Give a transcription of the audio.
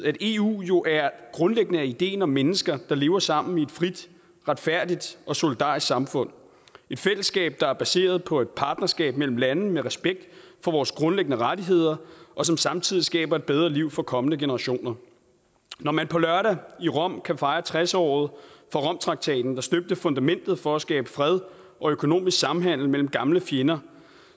at eu jo grundlæggende er ideen om mennesker der lever sammen i et frit retfærdigt og solidarisk samfund et fællesskab der er baseret på et partnerskab mellem lande med respekt for vores grundlæggende rettigheder og som samtidig skaber et bedre liv for kommende generationer når man på lørdag i rom kan fejre tres året for romtraktaten der støbte fundamentet for at skabe fred og økonomisk samhandel mellem gamle fjender